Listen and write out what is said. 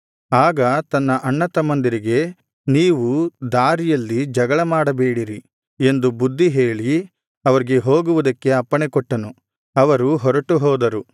ಆಗ ತನ್ನ ಅಣ್ಣತಮ್ಮಂದಿರಿಗೆ ನೀವು ದಾರಿಯಲ್ಲಿ ಜಗಳಮಾಡಬೇಡಿರಿ ಎಂದು ಬುದ್ಧಿ ಹೇಳಿ ಅವರಿಗೆ ಹೋಗುವುದಕ್ಕೆ ಅಪ್ಪಣೆಕೊಟ್ಟನು ಅವರು ಹೊರಟು ಹೋದರು